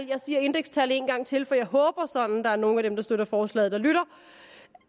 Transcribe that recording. jeg siger indekstal en gang til for jeg håber sådan at der er nogle af dem der støtter forslaget der lytter